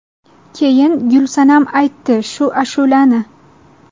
Keyin Gulsanam aytdi shu ashulani.